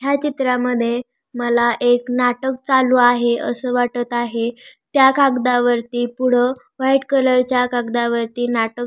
ह्या चित्रामध्ये मला एक नाटक चालू आहे अस वाटत आहे त्या कागदावरती पुढ व्हाईट कलर च्या कागदावरती नाटक--